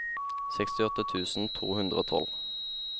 sekstiåtte tusen to hundre og tolv